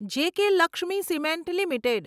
JK Lakshmi cement limited